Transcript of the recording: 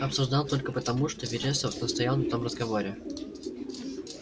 обсуждал только потому что вересов настоял на том разговоре